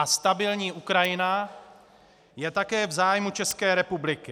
A stabilní Ukrajina je také v zájmu České republiky.